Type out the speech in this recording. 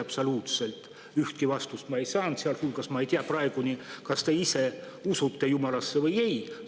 Absoluutselt mingit vastust ma ei saanud, sealhulgas ma ei tea praeguseni, kas te ise usute Jumalasse või ei.